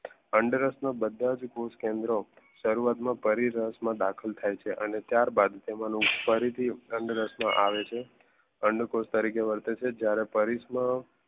અંડરસ બધા જ કેન્દ્રો શરૂઆતમાં પડી રસ માં દાખલ થાય છે અને ત્યારબાદ રાસ માં આવે છે અંડકોષ તરીકે વર્તે છે જ્યારે પરેશમા